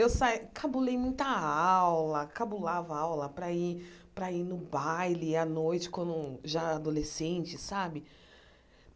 Eu saí, cabulei muita aula, cabulava aula para ir para ir no baile à noite, quando já adolescente, sabe?